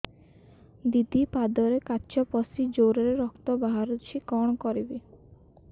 ଦିଦି ପାଦରେ କାଚ ପଶି ଜୋରରେ ରକ୍ତ ବାହାରୁଛି କଣ କରିଵି